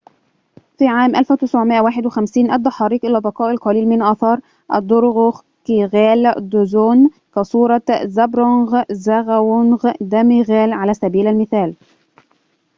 في عام 1951 أدى حريق إلى بقاء القليل من آثار الدروكغيال دزون كصورة زابدرونغ زغاوانغ نامغيال على سبيل المثال